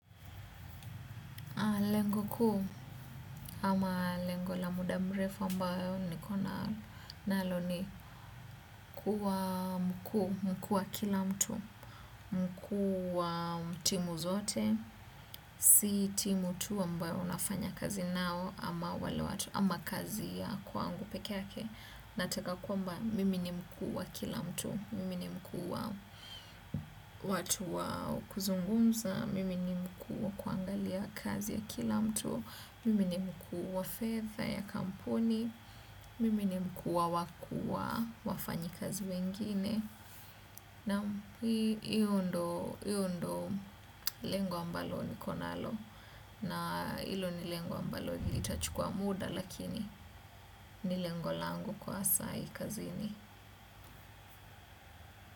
Lengo ku, ama lengo la muda mrefu ambao niko nalo ni kuwa mkuu, mkuu wa kila mtu, mkuu wa timu zote, si timu tu ambayo nafanya kazi nao ama kazi ya kwangu pekee yake. Nataka kwamba mimi ni mkuu wa kila mtu, mimi ni mkuu wa watu wa kuzungumza, mimi ni mkuu wa kuangalia kazi ya kila mtu, mimi ni mkuu wa fedha ya kampuni, mimi ni mkuu wa wakuu wa wafanyikazi wengine. Naam hiyo ndo lengo ambalo niko nalo na hilo ni lengo ambalo itachukua muda lakini ni lengo langu kwa sai kazini.